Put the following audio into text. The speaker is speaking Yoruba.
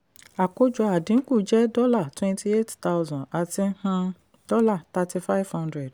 àkójọ àdínkù jẹ́ dollar twenty-eight thousand àti um dollar thirty-five hundred.